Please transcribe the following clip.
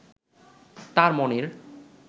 তার মনের